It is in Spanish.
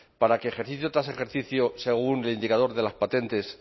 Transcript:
para que ejercicio tras ejercicio según el indicador de las patentes